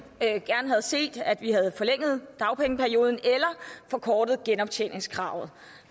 gerne havde set at vi havde forlænget dagpengeperioden eller forkortet genoptjeningsperioden